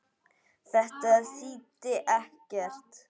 Þetta þýddi ekkert.